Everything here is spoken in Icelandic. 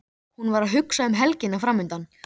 Hún var að hugsa um helgina framundan.